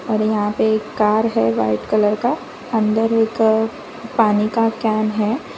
और यहां पे एक कार है वाइट कलर का अंदर एक पानी का कैन है।